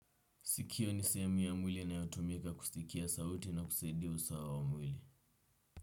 Sikio ni sehemu ya mwili inayotumika kusikia sauti na kusaidia usawa wa mwili.